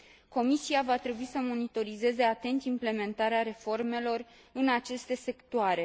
Comisia va trebui să monitorizeze atent implementarea reformelor în aceste sectoare.